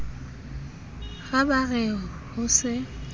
ha ba re ho se